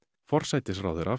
forsætisráðherra